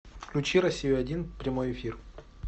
включи россия один прямой эфир